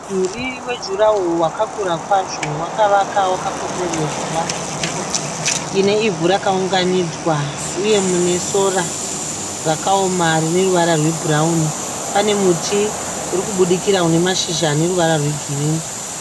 Mudhuri wejuraworo wakakura kwazvo, wakavakwa wakakomberedza nzvimbo ine ivhu rakaunganidzwa, uye mune sora rakaoma rine ruvara rwebhurawuni. Pane muti uri kubudikira une ruvara rwegirini.